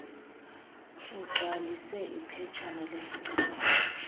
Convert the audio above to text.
ugcwalise iphetshana lesicelo